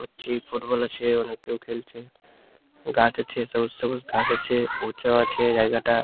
বলছি ফুটবল আছে ওখানে কেউ খেলছে গাছ আছে সবুজ সবুজ ঘাস আছে উঁচা আছে জায়গাটা--